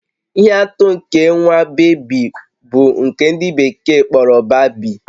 Ihe atụ nke nwa bébí bụ nke ndị bekee kpọrọ babii